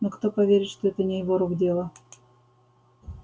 но кто поверит что это не его рук дело